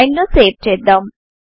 file ను save చేద్దాం